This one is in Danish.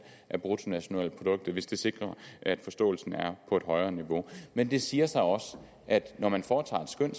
af bruttonationalproduktet hvis det sikrer at forståelsen er på et højere niveau men det siger så også at når man foretager et skøn